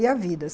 E a vida?